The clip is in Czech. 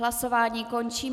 Hlasování končím.